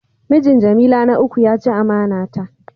Mijin jamila na uku ya chi amana ta.